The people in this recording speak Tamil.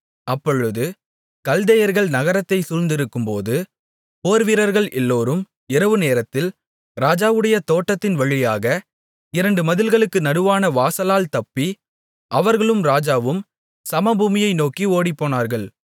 அப்பொழுது கல்தேயர்கள் நகரத்தைச் சூழ்ந்திருக்கும்போது போர்வீரர்கள் எல்லோரும் இரவுநேரத்தில் ராஜாவுடைய தோட்டத்தின் வழியாக இரண்டு மதில்களுக்கு நடுவான வாசலால் தப்பி அவர்களும் ராஜாவும் சமபூமியை நோக்கி ஓடிப்போனார்கள்